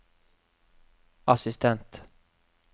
assistent